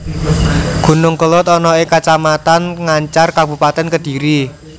Gunung Kelud ana ing Kacamatan Ngancar Kabupatèn Kedhiri